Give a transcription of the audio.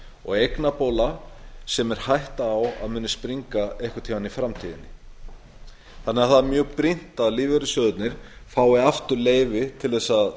og eignabóla sem er hætta á að muni springa einhvern tíma í framtíðinni það er því mjög brýnt að lífeyrissjóðirnir fái aftur leyfi til þess að